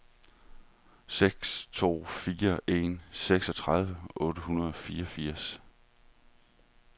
seks to fire en seksogtredive otte hundrede og fireogfirs